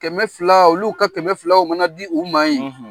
Kɛmɛ fila olu ka kɛmɛ filaw mana di u ma yen. .